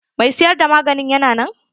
Mai siyar da magani yana nan?